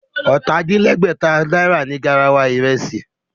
Ọ̀tà-din-lẹ́gbẹ̀ta náírà ni garawa ìrẹsì